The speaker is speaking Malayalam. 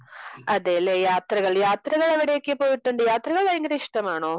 അതെയല്ലേ? യാത്രകൾ യാത്രകൾ, എവിടെയൊക്കെ പോയിട്ടുണ്ട്? യാത്രകൾ ഭയങ്കര ഇഷ്ടമാണോ?